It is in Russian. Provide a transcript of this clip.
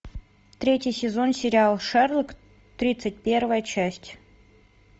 третий сезон сериал шерлок тридцать первая часть